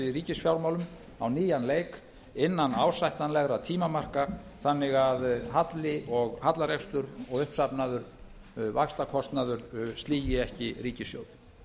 í ríkisfjármálum á nýjan leik innan ásættanlegra tímamarka þannig að halli og hallarekstur og uppsafnaður vaxtakostnaður sligi ekki ríkissjóð